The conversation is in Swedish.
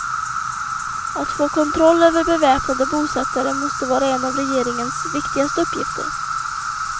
Att få kontroll över beväpnade bosättare måste vara en av regeringens viktigaste uppgifter.